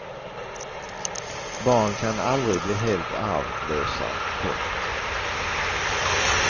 Barn kan aldrig bli helt arvlösa. punkt